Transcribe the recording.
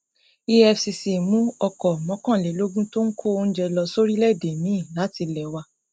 efcc mú ọkọ mọkànlélógún tó ń kó oúnjẹ lọ sóríléèdè miín látilé wá